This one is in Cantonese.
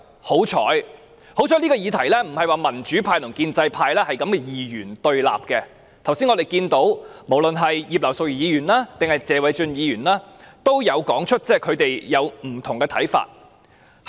幸好，這議題民主派與建制派不是二元對立，我們剛才看到無論是葉劉淑儀議員，還是謝偉俊議員也有說出他們不同的想法。